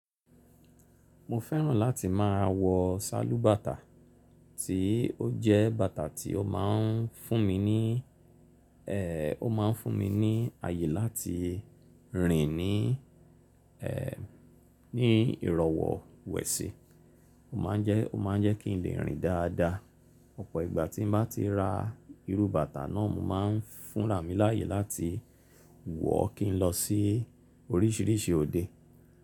Mo fẹ́ràn láti má a wọ salubata, tí ó jẹ́ bàtà tí ó máa ń fún mi ní, ó máa ń fún mi ní àyè láti rìn ní, ní ìrọ̀wọ́ wẹ̀sì. Ó ma ń jẹ́, ó ma ń jẹ́ kí n lè rìn dáadáa. Ọ̀pọ̀ ìgbà tí mo bá ti ra irú bàtà náà, mo máa ń fúnraà mí láyè láti wọ̀ kí n lọ sí orísìírísìí òde.